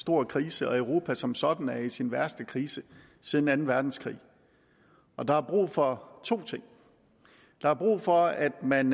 stor krise og at europa som sådan er i sin værste krise siden anden verdenskrig der er brug for to ting der er brug for at man